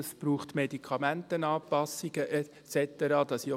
Es braucht Medikamentenanpassungen und so weiter.